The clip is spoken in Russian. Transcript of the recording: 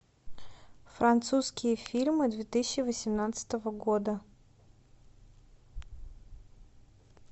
французские фильмы две тысячи восемнадцатого года